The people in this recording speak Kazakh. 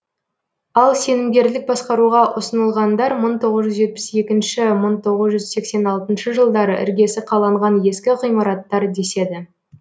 ал сенімгерлік басқаруға ұсынылғандар мың тоғыз жүз жетпіс екінші мың тоғыз жүз сексен алтыншы жылдары іргесі қаланған ескі ғимараттар деседі